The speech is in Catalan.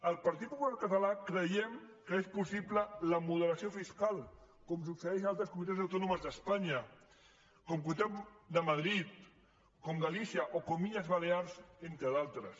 el partit popular català creiem que és possible la moderació fiscal com succeeix a altres comunitats autònomes d’espanya com la comunitat de madrid com galícia o com illes balears entre d’altres